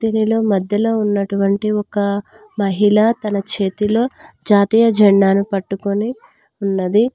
ఇందులో మధ్యలో ఉన్నటువంటి ఒక మహిళ తన చేతిలో జాతీయ జెండాను పట్టుకొని ఉన్నది.